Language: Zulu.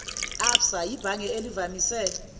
absa yibhange elivamise